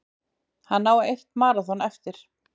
Hann á eitt maraþon eftir